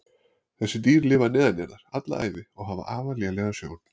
þessi dýr lifa neðanjarðar alla ævi og hafa afar lélega sjón